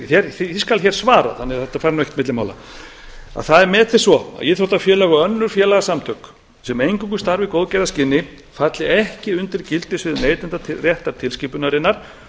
neytendatilskipunarinnar því skal hér svarað þannig að þetta fari ekkert á milli mála það er metið svo að íþróttafélög og önnur félagasamtök sem eingöngu starfa í góðgerðarskyni falli ekki undir gildissvið neytendaréttar tilskipunarinnar